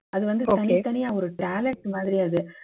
அது வந்து தனித்தனியா ஒரு talent மாதிரி அது